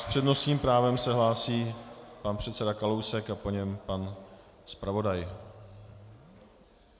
S přednostním právem se hlásí pan předseda Kalousek a po něm pan zpravodaj.